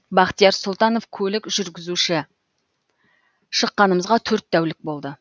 бахтияр сұлтанов көлік жүргізуші шыққанымызға төрт тәулік болды